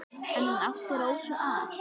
En hann átti Rósu að.